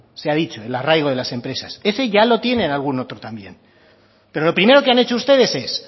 se ha dicho el arraigo de las empresas ese ya lo tiene algún otro también pero lo primero que han hecho ustedes es